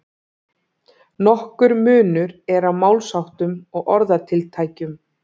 Nokkur munur er á málsháttum og orðatiltækjum.